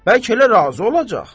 Bəlkə elə razı olacaq?